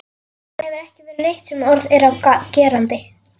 Það hefur ekki verið neitt sem orð er á gerandi.